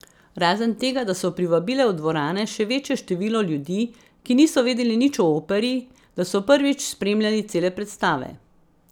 Razen tega, da so privabile v dvorane še večje število ljudi, ki niso vedeli nič o operi, da so prvič spremljali cele predstave.